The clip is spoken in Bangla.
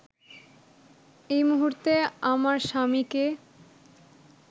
এই মুহূর্তে আমার স্বামীকে